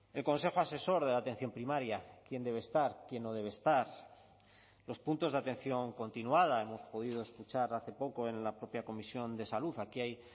el consejo asesor de la atención primaria quién debe estar quién no debe estar los puntos de atención continuada hemos podido escuchar hace poco en la propia comisión de salud aquí hay